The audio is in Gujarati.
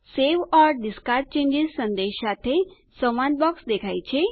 સવે ઓર ડિસ્કાર્ડ ચેન્જીસ સંદેશ સાથે સંવાદ બોક્સ દેખાય છે